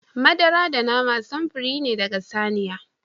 Madara da nama samfurori ne daga saniya.